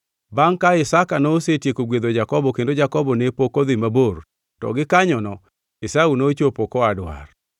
Bangʼ ka Isaka nosetieko gwedho Jakobo kendo Jakobo ne pok odhi mabor, to gikanyono Esau nochopo koa dwar.